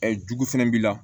jugu fɛnɛ b'i la